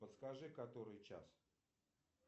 подскажи который час